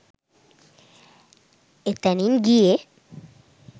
එතැනින් ගියේ